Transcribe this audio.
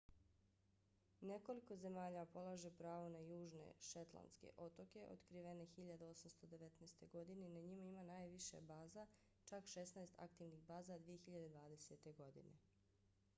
nekoliko zemalja polaže pravo na južne šetlandske otoke otkrivene 1819. godine i na njima ima najviše baza čak šesnaest aktivnih baza 2020. godine